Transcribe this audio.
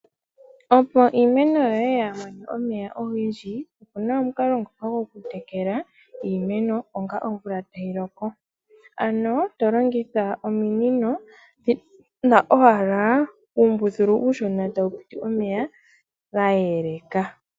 Opo iimeno yoye yaamone omeya ogendji opena omukalo ngoka gokutekela iimeno onga omvula tayiloko, ano tolongitha ominino dhina owala uumbuthulu uushona tawu piti omeya gayeleka.